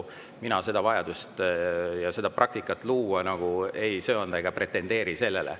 Mina seda vajadust ei näe ja seda praktikat luua ei söanda ega pretendeeri sellele.